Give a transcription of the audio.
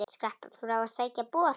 Skrapp frá að sækja bor.